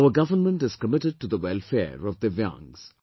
Our government is committed to the welfare of Divyaangs